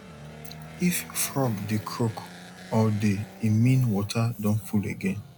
if frog dey croak all day e mean water don full again